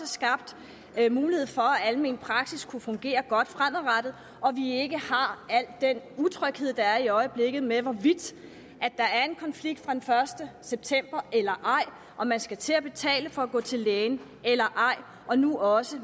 skabt mulighed for at almen praksis kunne fungere godt fremadrettet og at vi ikke har al den utryghed der i øjeblikket er med hvorvidt der er en konflikt fra den første september eller ej om man skal til at betale for at gå til læge eller ej og nu også